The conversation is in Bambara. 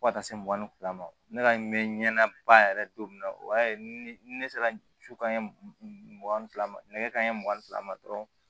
Fo ka taa se mugan ni fila ma ne ka mɛɛnna ba yɛrɛ don min na o y'a ye ne sera su ka mugan ni fila ma nɛgɛ kanɲɛ mugan ni fila ma dɔrɔn